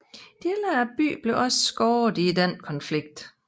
Dele af byen blev også skadet i den konflikt